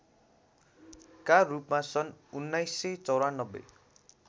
का रूपमा सन् १९९४